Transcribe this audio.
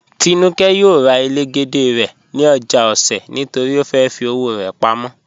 Tínúkẹ́ yóò rà ẹlẹ́gẹ̀dẹ̀ rẹ̀ ni ojá Òṣè̀ nítorí ó fẹ́ fì ọwọ̀ rẹ̀ pámọ̀.